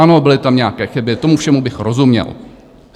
Ano, byly tam nějaké chyby, tomu všemu bych rozuměl.